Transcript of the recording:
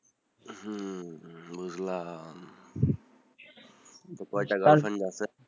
হম বুঝলাম কয়টা যে girlfriend আছে